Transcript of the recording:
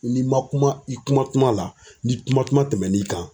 N'i ma kuma i kuma kuma la, ni kuma kuma tɛmɛ n'i kan